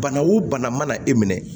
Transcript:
Bana o bana mana e minɛ